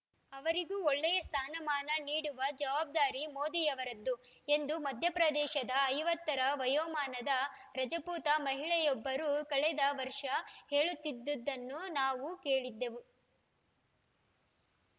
ಅವರಿಗೂ ಒಳ್ಳೆಯ ಸ್ಥಾನಮಾನ ನೀಡುವ ಜವಾಬ್ದಾರಿ ಮೋದಿಯವರದ್ದು ಎಂದು ಮಧ್ಯಪ್ರದೇಶದ ಐವತ್ತ ರ ವಯೋಮಾನದ ರಜಪೂತ ಮಹಿಳೆಯೊಬ್ಬರು ಕಳೆದ ವರ್ಷ ಹೇಳುತ್ತಿದ್ದುದನ್ನು ನಾನು ಕೇಳಿದ್ದೆವು